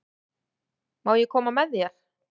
Má ég koma með þér?